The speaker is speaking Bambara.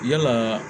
Yalaa